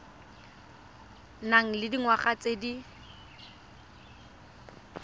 nang le dingwaga tse di